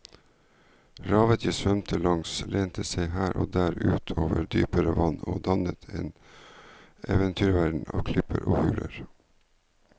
Revet jeg svømte langs lente seg her og der ut over dypere vann og dannet en eventyrverden av klipper og huler.